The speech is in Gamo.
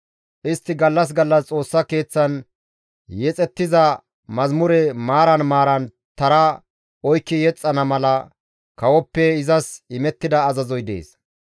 Istti gallas gallas Xoossa Keeththan yexettiza mazamure maaran maaran tara oykki yexxana mala kawoppe izas imettida azazoy dees.